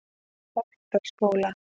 Holtsskóla